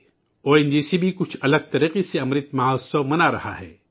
او N G C بھی کچھ الگ طریقے سے امرت مہوتسو منا رہا ہے